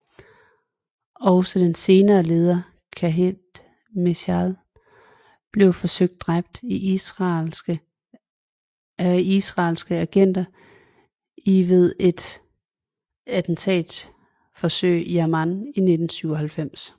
Også den senere leder Khaled Mishaal blev forsøgt dræbt af israelske agenter i ved et attentatforsøg i Amman i 1997